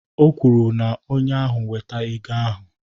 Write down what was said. O kwuru na onye ahụ weta ego ahụ